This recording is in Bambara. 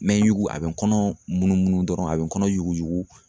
N bɛ yugu a bɛ n kɔnɔ munumunu dɔrɔn a bɛ kɔnɔ yuguyugu.